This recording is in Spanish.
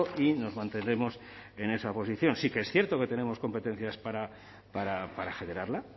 y nos mantenemos en esa posición sí que es cierto que tenemos competencias para generarla